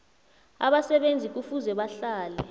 abasebenzi kufuze bahlale